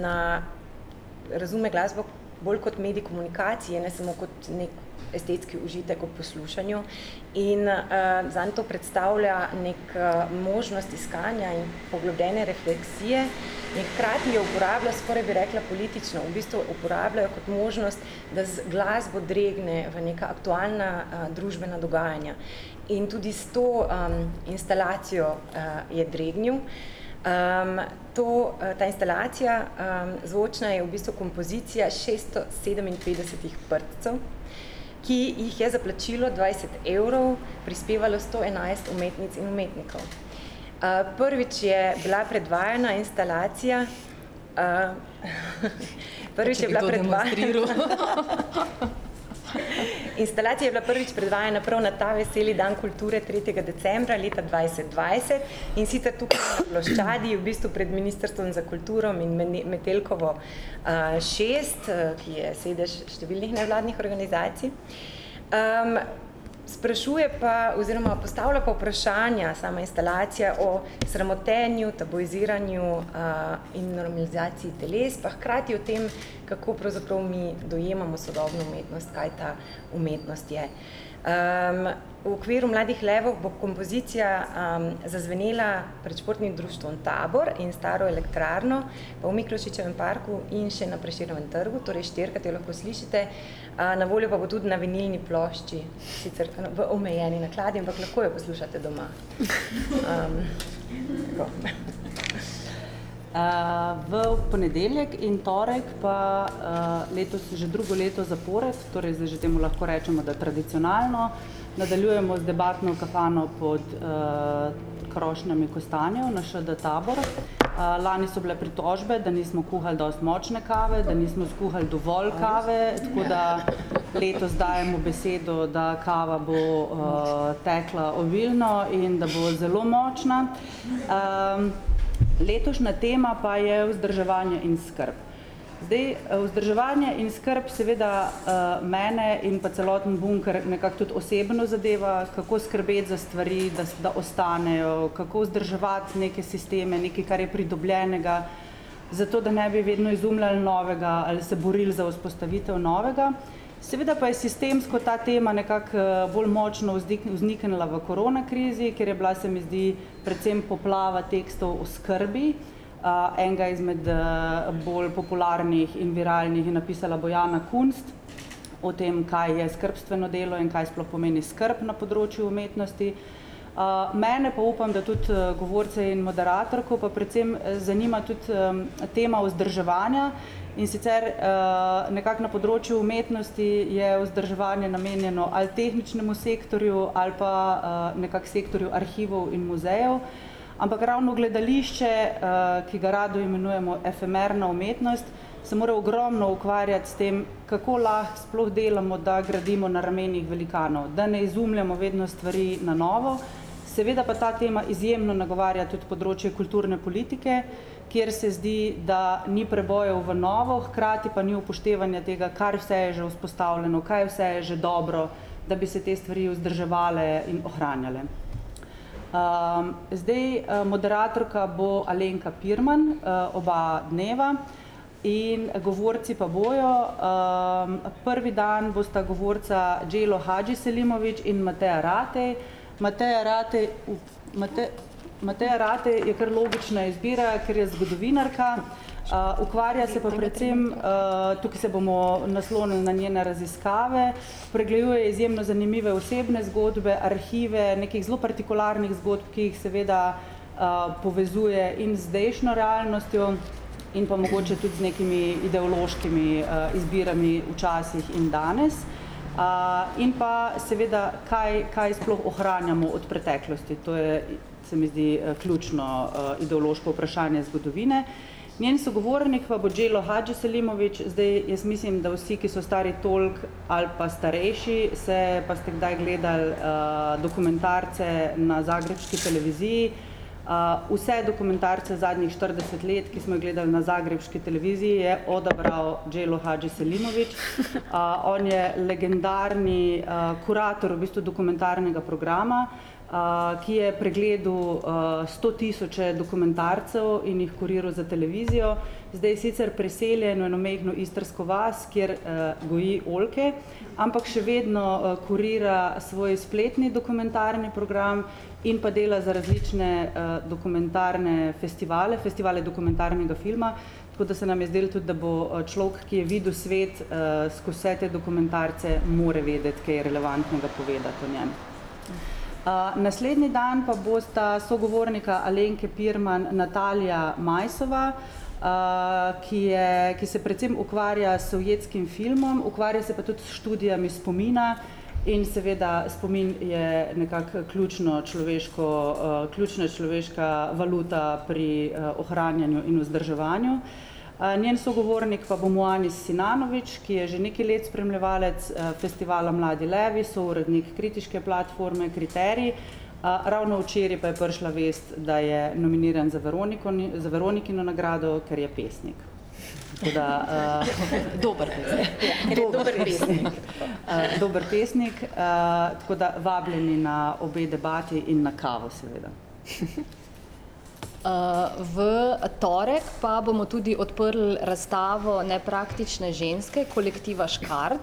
na, razume glasbo bolj kot medij komunikacije, ne samo kot neki estetski užitek ob poslušanju in, zanj to predstavlja neko, možnost iskanja in poglobljene refleksije in hkrati jo uporablja, skoraj bi rekla politično, v bistvu uporablja kot možnost, da z glasbo dregne v neka aktualna, družbena dogajanja. In tudi s to, instalacijo, je dregnil, to, ta instalacija, zvočna je v bistvu kompozicija šeststo sedeminpetdesetih prdcev, ki jih je za plačilo dvajset evrov prispevalo sto enajst umetnic in umetnikov. prvič je bila predvajana instalacija, prvič je bila ... Če bi to demonstriral. Instalacija je bila prvič predvajana prav na ta veseli dan kulture tretjega decembra leta dvajset dvajset, in sicer tukaj na ploščadi v bistvu pred ministrstvom za kulturo in, Metelkovo, šest, ki je sedež številnih nevladnih organizacij. sprašuje pa oziroma postavlja pa vprašanja sama instalacija o sramotenju, tabuiziranju, in normalizaciji teles pa hkrati o tem, kako pravzaprav mi dojemamo sodobno umetnost, kaj ta umetnost je. v okviru Mladih levov bo kompozicija, zazvenela pred Športnim društvom Tabor in Staro elektrarno pa v Miklošičevem parku in še na Prešernovem trgu, torej štirikrat jo lahko slišite. na voljo pa bo tudi na vinilni plošči, sicer v omejeni nakladi, ampak lahko jo poslušate doma. tako. v ponedeljek in torek pa, letos so že drugo leto zapored, torej zdaj že temu lahko rečemo, da je tradicionalno, nadaljujemo z debatno kampanjo pod, krošnjami kostanjev na ŠD Tabor. lani so bile pritožbe, da nismo kuhali dosti močne kave, da nismo skuhali dovolj kave, tako da letos dajemo besedo, da kava bo, tekla obilno in da bo zelo močna. letošnja tema pa je vzdrževanje in skrb. Zdaj, vzdrževanje in skrb seveda, mene in pa celoten Bunker nekako tudi osebno zadeva, kako skrbeti za stvari, da ostanejo, kako vzdrževati neke sisteme, nekaj, kar je pridobljenega, zato da ne bi vedno izumljali novega ali se borili za vzpostavitev novega. Seveda pa je sistemsko ta tema nekako, bolj močno vzniknila v korona krizi, ker je bila, se mi zdi, predvsem poplava tekstov o skrbi, enega izmed, bolj popularnih in viralnih je napisala Bojana Kunst, o tem, kaj je skrbstveno delo in kaj sploh pomeni skrb na področju umetnosti. mene pa upam, da tudi govorce in moderatorko pa predvsem zanima tudi, tema vzdrževanja, in sicer, nekako na področju umetnosti je vzdrževanje namenjeno ali tehničnemu sektorju ali pa, nekako sektorju arhivov in muzejev, ampak ravno gledališče, ki ga radi imenujemo efemerna umetnost, se mora ogromno ukvarjati s tem, kako lahko sploh delamo, da gradimo na ramenih velikanov, da ne izumljamo vedno stvari na novo, seveda pa ta tema izjemno nagovarja tudi področje kulturne politike, kjer se zdi, da ni prebojev v novo, hkrati pa ni upoštevanja tega, kar vse je že vzpostavljeno, kaj vse je že dobro, da bi se te stvari vzdrževale in ohranjale. zdaj, moderatorka bo Alenka Pirman, oba dneva in govorci pa bojo, prvi dan bosta govorca Đelo Hadžiselimović in Mateja Ratej. Mateja Ratej, Mateja Ratej je kar logična izbira, ker je zgodovinarka. ukvarja se pa predvsem, tukaj se bomo naslonili na njene raziskave. Pregleduje izjemno zanimive osebne zgodbe, arhive nekih zelo partikularnih zgodb, ki jih seveda, povezuje in z zdajšnjo realnostjo in pa mogoče tudi z nekimi ideološkimi, izbirami včasih in danes. in pa seveda, kaj, kaj sploh ohranjamo od preteklosti, to je, se mi zdi, ključno, ideološko vprašanje zgodovine. Njen sogovornik pa bo Đelo Hadžiselimović, zdaj, jaz mislim, da vsi, ki so stari toliko ali pa starejši, se pa ste kdaj gledali, dokumentarce na zagrebški televiziji. vse dokumentarce zadnjih štirideset let, ki smo jih gledali na zagrebški televiziji, je odabrao Đelo Hadžiselimović. on je legendarni, kurator v bistvu dokumentarnega programa, ki je pregledal, sto tisoče dokumentarcev in jih kuriral za televizijo, zdaj sicer priseljen v eno majhno istrsko vas, kjer, goji oljke. Ampak še vedno, kurira svoj spletni dokumentarni program in pa dela za različne, dokumentarne festivale, festivale dokumentarnega filma, tako da se nam je zdelo tudi, da bo človek, ki je videl svet, skozi vse te dokumentarce, mora vedeti kaj relevantnega povedati o njem. naslednji dan pa bosta sogovornika Alenke Pirman, Natalija Majsova, ki je, ki se predvsem ukvarja s sovjetskim filmom, ukvarja pa se tudi s študijami spomina. In seveda spomin je nekako ključno človeško, ključno človeška valuta pri, ohranjanju in vzdrževanju. njen sogovornik pa bo Muanis Sinanović, ki je že nekaj let spremljevalec, festivala Mladi levi, sourednik kritiške platforme Kriterij, ravno včeraj pa je prišla vest, da je nominiran za za Veronikino nagrado, ker je pesnik. Tako da, dober pesnik. Dober pesnik . dober pesnik, tako da vabljeni na obe debati in na kavo seveda . v torek pa bomo tudi odprli razstavo Nepraktične ženske kolektiva Škart.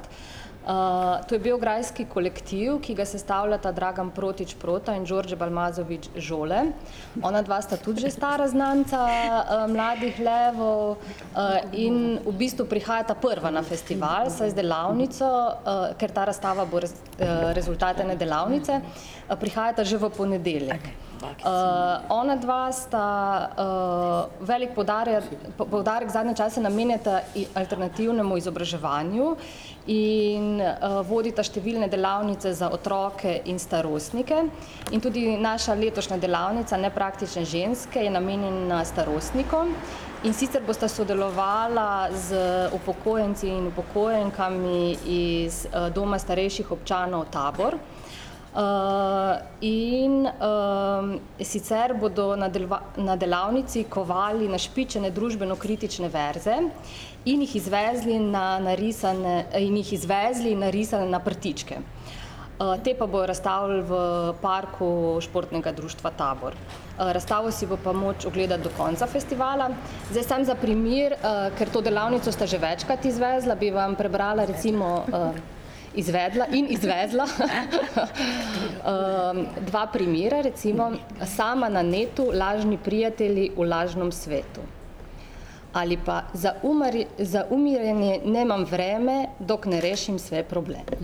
to je beograjski kolektiv, ki ga sestavljata Dragan Protić Prota in Đorđe Balmazović Žole. Onadva sta tudi že stara znanca, Mladih levov, in v bistvu prihajata prva na festival, vsaj z delavnico, ker ta razstava bo, rezultat ene delavnice. prihajata že v ponedeljek. onadva sta, velik poudarek zadnje čase namenjata alternativnemu izobraževanju in, vodita številne delavnice za otroke in starostnike. In tudi naša letošnja delavnica Nepraktične ženske je namenjena starostnikom, in sicer bosta sodelovala z upokojenci in upokojenkami iz, Doma starejših občanov Tabor, in, sicer bodo na delavnici kovali našpičene družbenokritične verze in jih izvezli na narisane in jih izvezli narisane na prtičke. te pa bojo razstavili v parku Športnega društva Tabor. razstavo si bo pa moč ogledati do konca festivala, zdaj samo za primer, ker to delavnico sta že večkrat izvezla, bi vam prebrala recimo, izvedla in izvezla, dva primera recimo: "Sama na netu, lažni prijatelji v lažnom svetu." Ali pa: "Za za umirjene nemam vreme, dokler ne rešim vse probleme."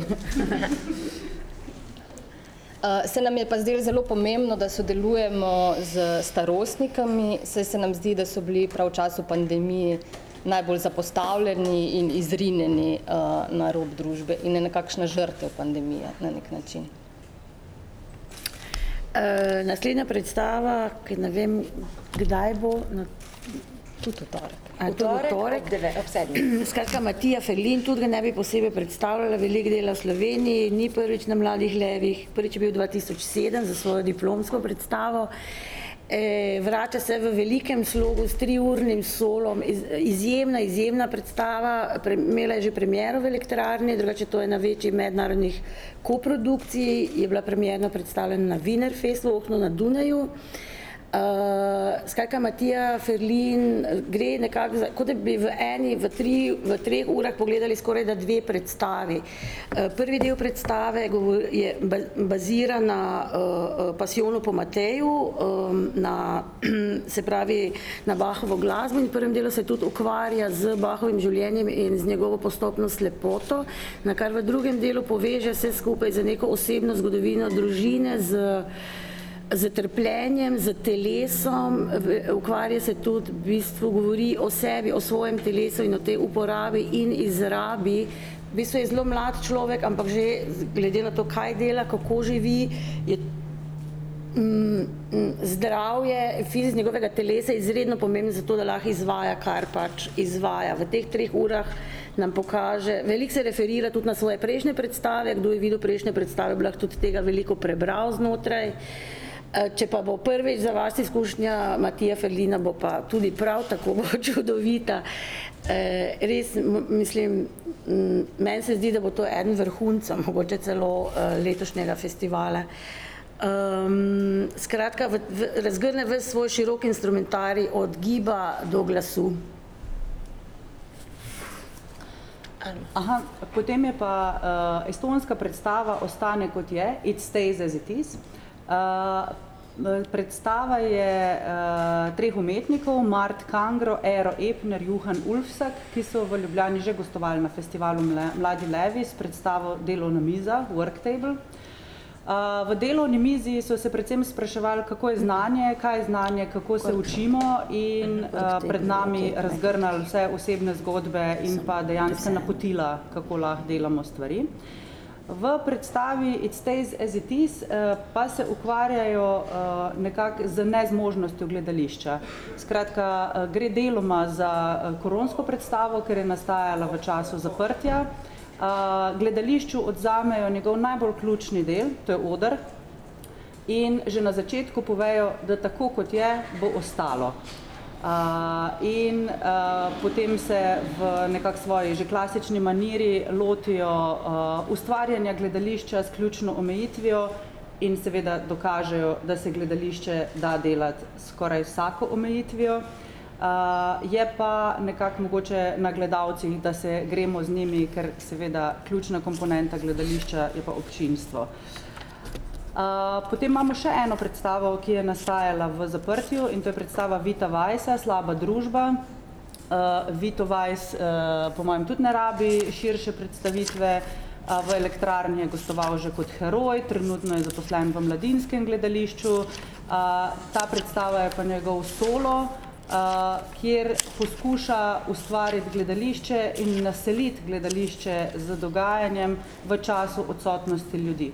se nam je pa zdelo zelo pomembno, da sodelujemo s starostniki, saj se nam zdi, da so bili prav v času pandemije najbolj zapostavljeni in izrinjeni, na rob družbe in nekakšne žrtve pandemije na neki način. naslednja predstava, ki ne vem, kdaj bo na, kje to ... V torek skratka, Matija Ferlin, tudi ga ne bi posebej predstavljala, veliko dela v Sloveniji, ni prvič na Mladih levih, Ob sedmih. Prvič je bil dva tisoč sedem za svojo diplomsko predstavo. vrača se v velikem slogu, s triurnim solom izjemna, izjemna predstava, imela je že premiero v Elektrarni, drugače je to ena večjih mednarodnih koprodukcij, je bila premierno predstavljena na na Dunaju, skratka, Matija Ferlin, gre nekako za, kot da bi v eni, v tri, v treh urah pogledali skorajda dve predstavi. prvi del predstave je bazirano na, Pasijonu po Mateju, na, se pravi na Bachovo glasbo in v prvem delu se tudi ukvarja z Bachovim življenjem in z njegovo postopno slepoto, nakar v drugem delu poveže vse skupaj z neko osebno zgodovino družine, z, s trpljenjem, s telesom, v ukvarja se tudi v bistvu govori o sebi, o svojem telesu in tej uporabi in izrabi, v bistvu je zelo mlad človek, ampak glede na to, kaj dela, kako živi, je, zdravje njegovega telesa izredno pomembno zato, da lahko izvaja, kar pač izvaja, v teh treh urah nam pokaže, veliko se referira tudi na svoje prejšnje predstave, kdo je videl prejšnje predstave, bi lahko tudi tega veliko prebral znotraj. če pa bo prvič za vas izkušnja Matija Ferlina, bo pa tudi prav tako čudovita. res mislim, meni se zdi, da bo to eden vrhuncev, mogoče celo, letošnjega festivala. skratka v, v razgrne ves svoj široki instrumentarij od giba do glasu. potem je pa, estonska predstava Ostani, kot je, It stays as it is. predstava je, treh umetnikov Mart Kangro, Ero Epner, Juhan Ulfsak, ki so v Ljubljani že gostovali na festivalu Mladi levi s predstavo Delovna miza, Work table. v delovni mizi so se predvsem spraševali, kako je znanje, kaj je znanje, kako se učimo in, pred nami razgrnili vse osebne zgodbe in pa dejansko napotila, kako lahko delamo stvari. V predstavi It stays as it is, pa se ukvarjajo, nekako z nezmožnostjo gledališča. Skratka, gre deloma za, koronsko predstavo, ker je nastajala v času zaprtja. gledališču odvzamejo njegov najbolj ključni del, to je oder. In že na začetku povejo, da tako, kot je, bo ostalo. in, potem se v nekako svoji že klasični maniri lotijo, ustvarjanja gledališča s ključno omejitvijo in seveda dokažejo, da se gledališče da delati skoraj vsako omejitvijo. je pa nekako mogoče na gledalcih, da se gremo z njimi, kar seveda ključna komponenta gledališča je pa občinstvo. potem imamo še eno predstavo, ki je nastajala v zaprtju, in to je predstava Vita Weisa Slaba družba. Vito Weis, po mojem tudi ne rabi širše predstavitve. v Elektrarni je gostoval že kot heroj, trenutno je zaposlen v Mladinskem gledališču. ta predstava je pa njegov solo, kjer poskuša ustvariti gledališče in naseliti gledališče z dogajanjem v času odsotnosti ljudi,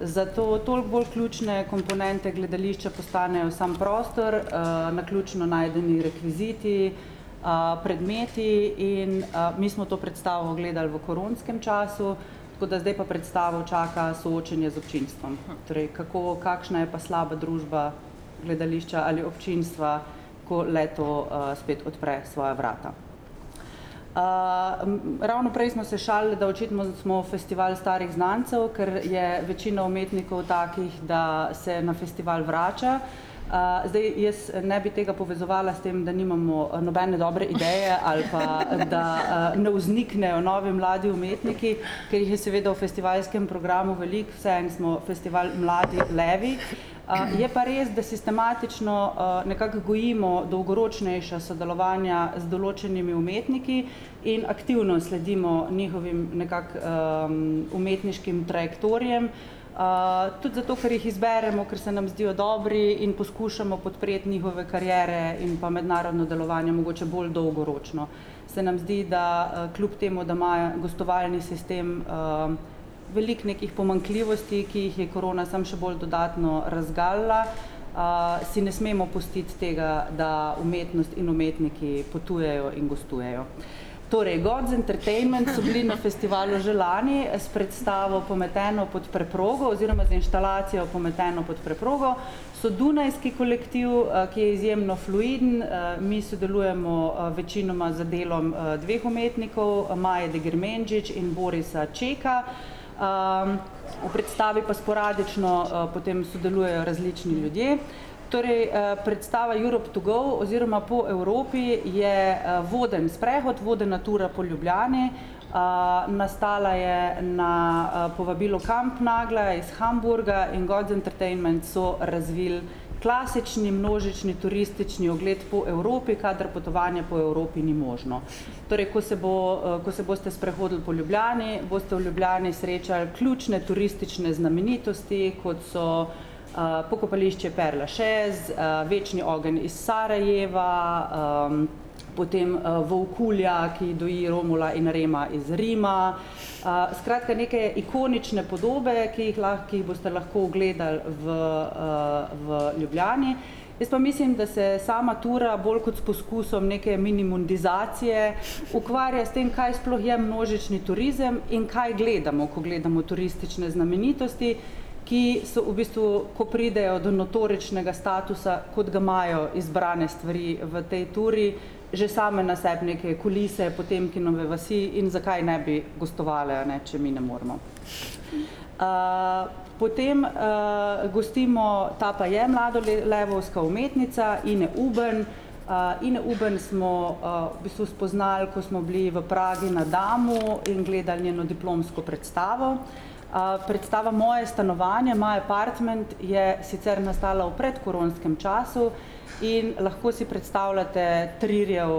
zato toliko bolj ključne komponente gledališča postanejo samo prostor, naključno najdeni rekviziti, predmeti in, mi smo to predstavo gledali v koronskem času, tako da zdaj pa predstavo čaka soočenje z občinstvom, torej kako, kakšna je pa slaba družba gledališča ali občinstva, ko le-to, spet odpre svoja vrata. ravno prej smo se šalili, da očitno smo festival starih znancev, ker je večina umetnikov takih, da se na festival vrača. zdaj jaz ne bi tega povezovala s tem, da nimamo, nobene dobre ideje ali pa, da, ne vzniknejo novi mladi umetniki, ki jih je seveda v festivalskem programu veliko. Vseeno smo festival Mladi levi. je pa res, da sistematično, nekako gojimo dolgoročnejša sodelovanja z določenimi umetniki in aktivno sledimo njihovim nekako, umetniškim trajektorijem. tudi zato, ker jih izberemo, ker se nam zdijo dobri, in poskušamo podreti njihove kariere in pa mednarodno delovanje mogoče bolj dolgoročno. Se nam zdi, da kljub temu, da ima gostovalni sistem veliko nekih pomanjkljivosti, ki jih je korona samo še bolj dodatno razgalila, si ne smemo pustiti tega, da umetnost in umetniki potujejo in gostujejo. Torej God's Entertainment so bili na festivalu že lani s predstavo Pometeno pod preprogo oziroma z inštalacijo Pometano pod preprogo. So dunajski kolektiv, ki je izjemno fluiden, mi sodelujemo, večinoma z delom dveh umetnikov Maje Degremenčič in Borisa Čeka. v predstavi pa sporadično, potem sodelujejo različni ljudje, torej, predstava Europe to go oziroma Po Evropi je, voden sprehod, vodena tura po Ljubljani. nastala je na, povabilo Kampnagla iz Hamburga in God's Entertainment so razvili klasični množični turistični ogled po Evropi, kadar potovanje po Evropi ni možno. Torej, ko se bo, ko se boste sprehodili po Ljubljani, boste v Ljubljani srečali ključne turistične znamenitosti, kot so, Pokopališče Père Lachaise, Večni ogenj iz Sarajeva, potem, volkulja, ki doji Romula in Rema, iz Rima, skratka neke ikonične podobe, ki jih lahko, ki jih boste lahko ogledali v, v Ljubljani, jaz pa mislim, da se sama tura bolj kot s poskusom neke minimondizacije ukvarja s tem, kaj sploh je množični turizem in kaj gledamo, ko gledamo turistične znamenitosti, ki so v bistvu, ko pridejo do notoričnega statusa, kot ga imajo izbrane stvari v tej turi, že same na sebi neke kulise Potemkinove vasi, in zakaj ne bi gostovale, a ne, če mi ne moremo. potem, gostimo, ta pa je mlada levovska umetnica, Ine Ubben. Ine Ubben smo, v bistvu spoznali, ko smo bili v Pragi na Damu in gledali njeno diplomsko predstavo. predstava Moje stanovanje, My apartment, je sicer nastala v predkoronskem času, in lahko si predstavljale Trierjev,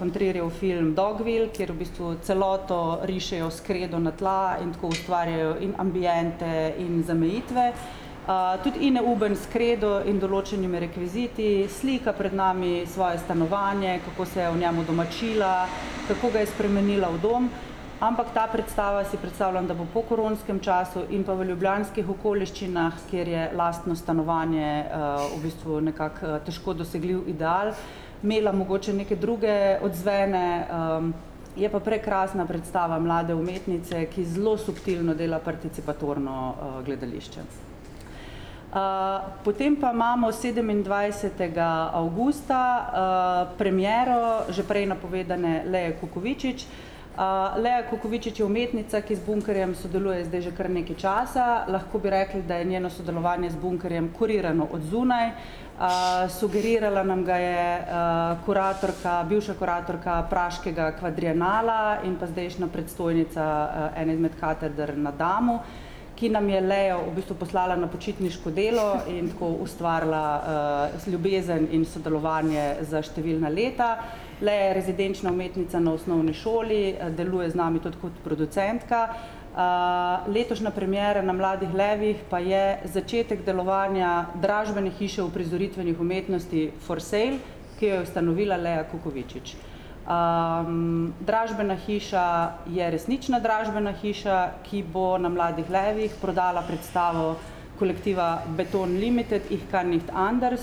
von Trierjev film Dogville, kjer v bistvu celoto rišejo s kredo na tla in tako ustvarjajo in ambiente in zamejitve, tudi Ina Ubben s kredo in določenimi rekviziti slika pred nami svoje stanovanje, kako se je v njem udomačila, kako ga je spremenila v dom, ampak ta predstava, si predstavljam, da bo po koronskem času in pa v ljubljanskih okoliščinah, kjer je lastno stanovanje, v bistvu nekako težko dosegljiv ideal, imela mogoče neke druge odzvene, Je pa prekrasna predstava mlade umetnice, ki zelo subtilno dela participatorno, gledališče. potem pa imamo sedemindvajsetega avgusta, premiero že prej napovedane Lee Kukovičič. Lea Kukovičič je umetnica, ki z Bunkerjem sodeluje zdaj že kar nekaj časa, lahko bi rekli, da je njeno sodelovanje z Bunkerjem kurirano od zunaj. sugerirala nam ga je, kuratorka, bivša kuratorka praškega kvadrienala in pa zdajšnja predstojnica ena izmed kateder na , ki nam je Lea v bistvu poslala na počitniško delo in tako ustvarila, ljubezen in sodelovanje za številna leta. Lea je rezidenčna umetnica na osnovni šoli, deluje z nami tudi kot producentka. letošnja premiera na Mladih levih pa je začetek delovanja dražbene hiše uprizoritvenih umetnosti For sale, ki jo je ustanovila Lea Kukovičič. dražbena hiša je resnična dražbena hiša, ki bo na Mladih levih prodala predstavo kolektiva Beton Limited Ich kann nicht anders.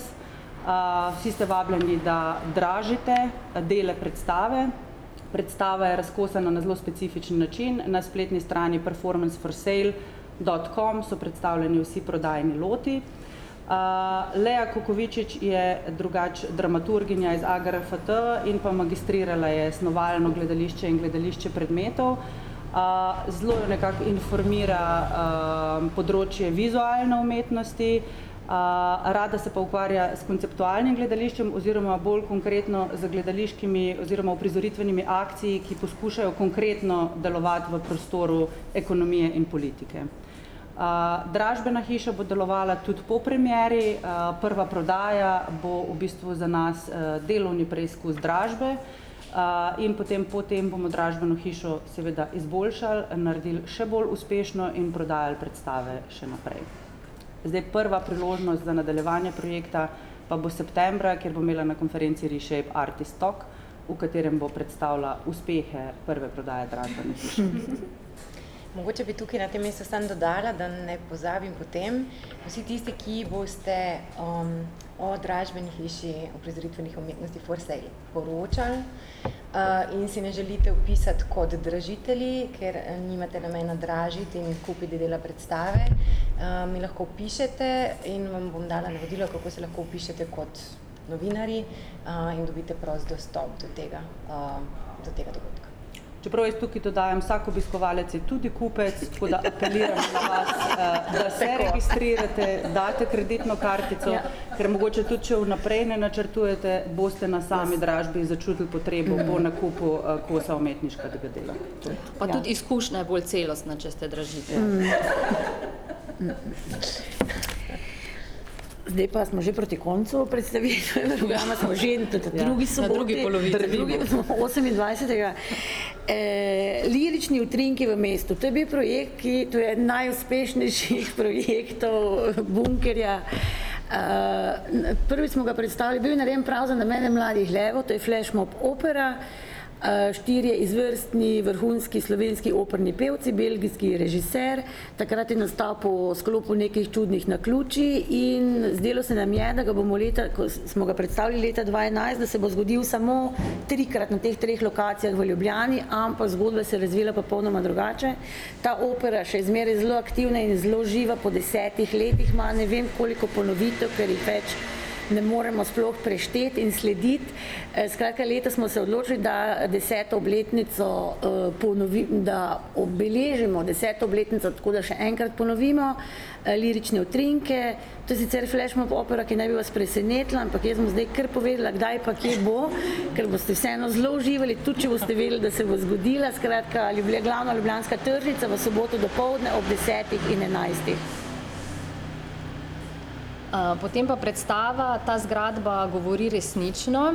vsi ste vabljeni, da dražite dele predstave. Predstava je razkosana na zelo specifičen način, na spletni strani performans For sale dot com so predstavljeni vsi prodajni loti. Lea Kukovičič je drugače dramaturginja z AGRFT in pa magistrirala je snovalno gledališče in gledališče predmetov. zelo je nekako informira, področje vizualne umetnosti, rada se pa ukvarja s konceptualnim gledališčem oziroma bolj konkretno z gledališkimi oziroma uprizoritvenimi akti, ki poskušajo konkretno delovati v prostoru ekonomije in politike. dražbena hiša bo delovala tudi po premieri, prva prodaja bo v bistvu za nas, delovni preizkus dražbe, in potem, potem bomo dražbeno hišo seveda izboljšali, naredili še bolj uspešno in prodajali predstave še naprej. Zdaj prva priložnost za nadaljevanje projekta pa bo septembra, kjer bo imela na konferenci Reshape artistock, v katerem bo predstavila uspehe prve prodaje dražbene hiše . Mogoče bi tudi na tem mestu samo dodala, da ne pozabim potem, vsi tisti, ki boste, o dražbeni hiši uprizoritvenih umetnosti For sale poročali, in si ne želite opisati kot dražitelji, ker nimate namena dražiti in kupiti dela predstave, mi lahko pišete in vam bom dala navodila, kako se lahko vpišete kot novinarji, in dobite prost dostop do tega, do tega dogodka. Čeprav jaz tukaj dodajam, vsak obiskovalec je tudi kupec, tako da apeliram na vas, da se registrirate, date kreditno kartico, ker mogoče tudi če vnaprej ne načrtujete, boste na sami dražbi začutili potrebo po nakupu, kosov umetniškega dela. Pa tudi izkušnja je bolj celostna, če ste dražitelj . Zdaj pa smo že proti koncu predstavitve, smo še v drugi osemindvajsetega, Lirični utrinki v mestu, to je bil projekt, ki, to je eden najuspešnejših projektov, Bunkerja, prvič smo ga predstavili, bil narejen prav za namen Mladih levov, to je Flashmob opera. štirje izvrstni vrhunski slovenski operni pevci, belgijski režiser, takrat je nastal po sklopu nekih čudnih naključij in zdelo se nam je, da ga bomo leta, ko smo ga predstavili leta dva enajst, da se bo zgodilo samo trikrat na teh treh lokacijah v Ljubljani, ampak zgodba se je razvila popolnoma drugače. Ta opera je še zmeraj zelo aktivna in še zmeraj zelo živa po desetih letih ima ne vem koliko ponovitev, ker jih več ne moremo sploh prešteti in slediti. skratka letos smo se odločili, da deseto obletnico, da obeležimo deseto obletnico, tako da še enkrat ponovimo, Lirične utrinke. To je sicer Flashmob opera, ki naj bi vas presenetila, ampak jaz bom zdaj kar povedala, kdaj pa kje bo, ker boste vseeno zelo uživali, tudi če boste vedeli, da se bo zgodila, skratka, glavna ljubljanska tržnica v soboto dopoldne ob desetih in enajstih. potem pa predstava Ta zgradba govori resnično,